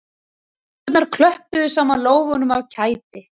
Stúlkurnar klöppuðu saman lófunum af kæti